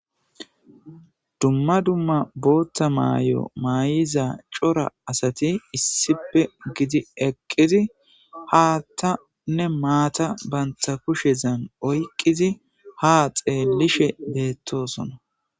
Dumma dumma bootta maay7o may7iza cora asati issipe gidi eqqizi haattanne maata bantha kushezan oyqqizi ha xeellishe deettosona.